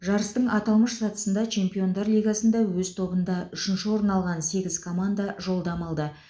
жарыстың аталмыш сатысына чемпиондар лигасында өз тобында үшінші орын алған сегіз команда жолдама алды